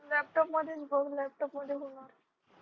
laptop मध्येच बघ laptop मध्ये होणार